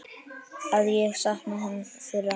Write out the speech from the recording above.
Að ég sakna þeirra.